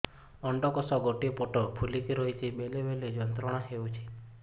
ଅଣ୍ଡକୋଷ ଗୋଟେ ପଟ ଫୁଲିକି ରହଛି ବେଳେ ବେଳେ ଯନ୍ତ୍ରଣା ହେଉଛି